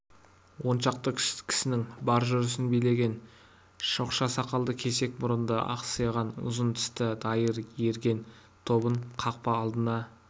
он шақты кісінің бар жүрісін билеген шоқша сақалды кесек мұрынды ақсиған ұзын тісті дайыр ерген тобын қақпа алдына